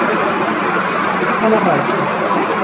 Búinn að láta draumana rætast.